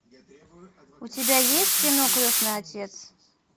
у тебя есть кино крестный отец